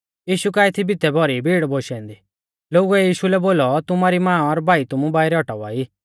यीशु काऐ थी भितै भौरी भीड़ बोशी औन्दी लोगुऐ यीशु लै बोलौ तुमारी मां और भाई तुमु बाइरै औटावा ई